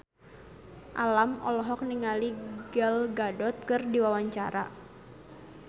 Alam olohok ningali Gal Gadot keur diwawancara